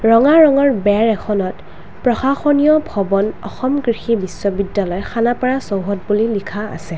ৰঙা ৰঙৰ বেৰ এখনত প্ৰশাসনীয় ভৱন অসম কৃষি বিশ্ববিদ্যালয় খানাপাৰা চৌহদ বুলি লিখা আছে।